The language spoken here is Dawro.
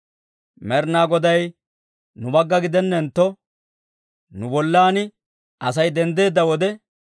«Med'inaa Goday nu bagga gidennentto, nu bollan Asay denddeedda wode,